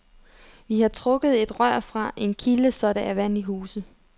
Vi har trukket et rør fra en kilde, så der er vand i huset.